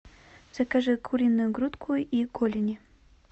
закажи куриную грудку и голени